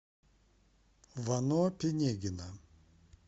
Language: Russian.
вано пинегина